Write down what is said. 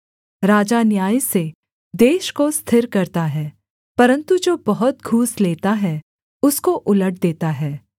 राजा न्याय से देश को स्थिर करता है परन्तु जो बहुत घूस लेता है उसको उलट देता है